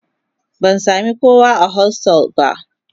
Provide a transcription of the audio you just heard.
Ban sami kowa a hostel ba